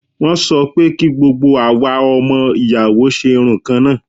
Wọ́n sọ pé kí gbogbo àwa ọmọ ìyàwó ṣe irun kan náà.